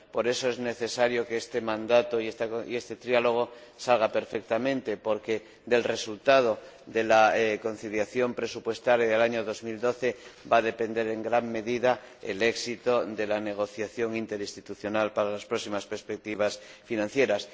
Por eso es necesario que este mandato y este diálogo tripartito salgan perfectamente, porque del resultado de la concertación presupuestaria del año 2012 va a depender en gran medida el éxito de la negociación interinstitucional para las próximas perspectivas financieras.